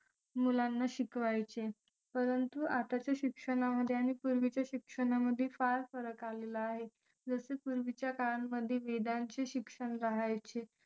मुलांना शिकवायचे परंतु आताच्या शिक्षणामध्ये आणि पूर्वीच्या शिक्षणामध्ये फार फरक आलेला आहे जसे पूर्वीच्या काळामध्ये वेदांचे शिक्षण राहायचे